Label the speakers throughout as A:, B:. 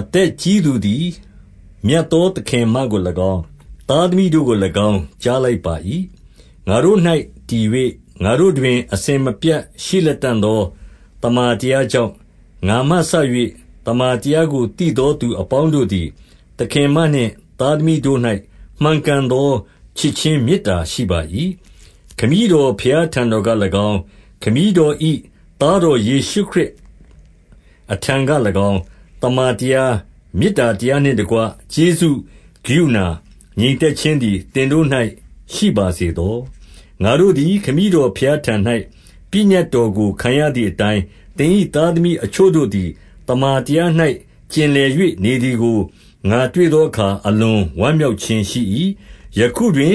A: အသက်ကြီးသူသည် မြတ်သောသခင်မကို၎င်း၊ သားသမီးတို့ကို၎င်းကြားလိုက်ပါ၏။ ငါတို့၌တည်၍ ငါတို့တွင် အစဉ်မပြတ်ရှိလတံ့သော သမ္မာတရားကြောင့်၊ 2 ငါမှစ၍ သမ္မာတရားကို သိသောသူအပေါင်း တို့သည်၊ သခင်မနှင့် သားသမီးတို့၌ မှန်ကန်သောချစ်ခြင်းမေတ္တာရှိပါ၏။ 3 ခမည်းတော်ဘုရားထံတော်က၎င်း၊ ခမည်းတော်၏သားတော်ယေရှုခရစ်အထံက၎င်း၊ သမ္မာတရား၊ မေတ္တာတရားနှင့်တကွ၊ ကျေးဇူး၊ ကရုဏာ၊ ငြိမ်သက်ခြင်းသည် သင်တို့၌ရှိပါစေသော။ 4 ငါတို့သည် ခမည်းတော်ဘုရားထံ၌ ပညတ်တော်ကို ခံရသည်အတိုင်း၊ သင်၏သားသမီးအချို့တို့သည် သမ္မာတရား၌ ကျင်လည်၍ နေသည်ကို ငါတွေ့သောအခါ၊ အလွန်ဝမ်းမြောက်ခြင်းရှိ၏။ 5 ယခုတွင်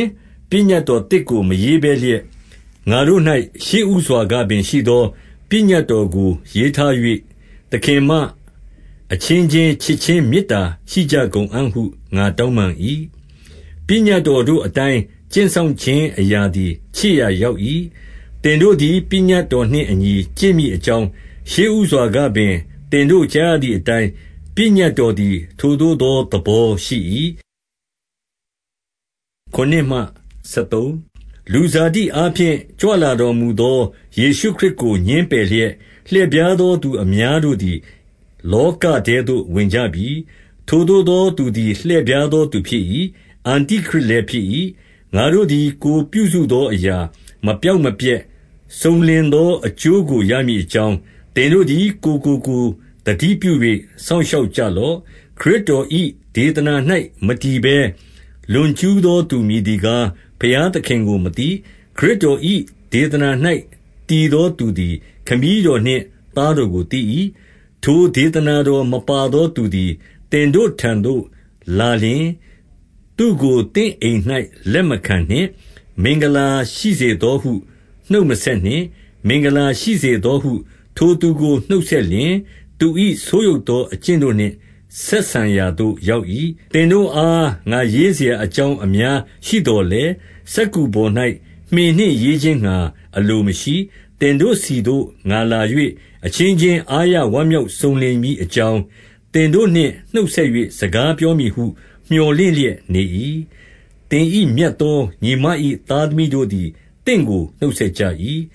A: ပညတ်တော်သစ်ကို မရေးဘဲလျက်၊ ငါတို့၌ရှေ့ဦးစွာကပင်ရှိသော ပညတ်တော်ကိုရေးထား၍၊ သခင်မ၊ အချင်းချင်းချစ်ခြင်း မေတ္တာရှိကြကုန်အံ့ဟု ငါတောင်းပန်၏။ 6 ပညတ်တော်တို့အတိုင်း ကျင့်စောင့်ခြင်းအရာသည် ချစ်ရာရောက်၏။ သင်တို့သည် ပညတ်တော်နှင့် အညီကျင့်မည်အကြောင်း၊ ရှေ့ဦးစွာကပင်သင်တို့ ကြားရသည်အတိုင်း၊ ပညတ်တော်သည်ထိုသို့သော သဘောရှိ၏။ 7 လူဇာတိအားဖြင့် ကြွလာတော်မူသော ယေရှုခရစ်ကို ငြင်းပယ်လျက်၊ လှည့်ဖြားသော သူအများ တို့သည် လောကထဲသို့ဝင်ကြပြီ။ ထိုသို့သောသူသည် လှည့်ဖြားသောသူဖြစ်၏။ အန္တိခရစ်လည်းဖြစ်၏။ 8 ငါတို့သည် ကိုယ်ပြုစုသောအရာမပျောက်မပျက်၊ စုံလင်သောအကျိုးကို ရမည်အကြောင်း၊ သင်တို့သည် ကိုယ်ကိုကိုယ်သတိပြု၍ စောင့်ရှောက်ကြလော့။ 9 ခရစ်တော်၏ဒေသနာ၌ မတည်ဘဲ လွန်ကျူးသောသူမည်သည်ကား၊ ဘုရားသခင်ကိုမသိ။ ခရစ်တော် ၏ ဒေသနာ၌ တည်သောသူသည် ခမည်းတော်နှင့် သားတော်ကိုသိ၏။ 10 ထိုဒေသနာတော်မပါသောသူသည် သင်တို့ထံသို့လာလျှင်၊ သူ့ကိုသင့်အိမ်၌ လက်မခံနှင့်။ မင်္ဂလာရှိစေ သောဟု နှုတ်မဆက်နှင့်။ 11 မင်္ဂလာရှိစေသောဟု ထိုသူကိုနှုတ်ဆက်လျှင်၊ သူ၏ဆိုးယုတ်သောအကျင့်တို့နှင့် ဆက်ဆံရာသို့ ရောက်၏။ 12 သင်တို့အား ငါရေးစရာအကြောင်း အများရှိသော်လည်း၊ စက္ကူပေါ်၌မှင်နှင့်ရေးခြင်းငှါ အလိုမရှိ၊ သင်တို့ဆီသို့ ငါလာ၍၊ အချင်းချင်း အားရဝမ်းမြောက်ခြင်းစုံလင်မည်အကြောင်း၊ သင်တို့နှင့် နှုတ်ဆက်၍ စကားပြောမည်ဟုမြော်လင့်လျက်နေ၏။ 13 သင်၏မြတ်သောညီမ၏ သားသမီးတို့သည် သင့်ကိုနှုတ်ဆက် ကြ၏။